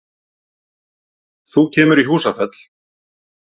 Þú kemur í Húsafell.